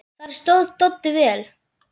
Þar stóð Doddi vel.